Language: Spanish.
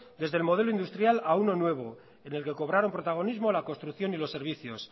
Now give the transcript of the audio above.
desde el modelo industrial a uno nuevo en el que cobraron protagonismo la construcción y los servicios